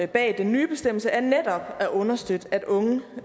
bag den nye bestemmelse er netop at understøtte at unge